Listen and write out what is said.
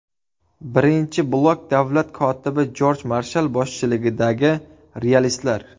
Birinchi blok davlat kotibi Jorj Marshall boshchiligidagi realistlar.